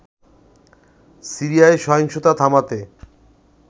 সিরিয়ায় সহিংসতা থামাতে